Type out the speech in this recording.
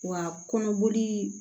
Wa kɔnɔboli